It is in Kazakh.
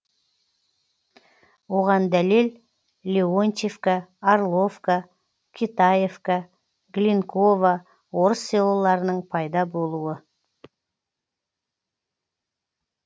оған дәлел леонтьевка орловка китаевка глинково орыс селоларының пайда болуы